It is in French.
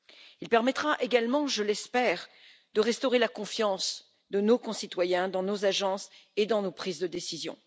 Il permettra également, je l'espère, de restaurer la confiance de nos concitoyens dans nos agences et dans nos prises de décision.